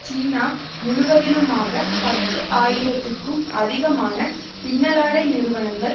சீனா முழுவதிலுமாக பத்து ஆயிரத்துக்கும் அதிகமான பின்னலாடை நிறுவனங்கள்